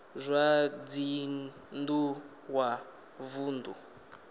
zwa dzinn ḓu wa vunḓu